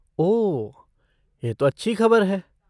ओह, यह तो अच्छी खबर है।